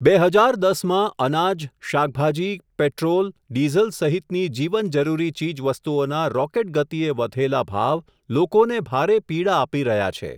બે હજાર દસ માં અનાજ, શાકભાજી, પેટ્રોલ, ડિઝલ સહિતની જીવન જરૂરી ચીજવસ્તુઓના રોકેટ ગતિએ વધેલા ભાવ લોકોને ભારે પીડા આપી રહ્યા છે.